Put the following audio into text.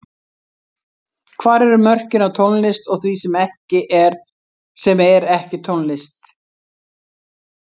Hvar eru mörkin á tónlist og því sem er ekki tónlist?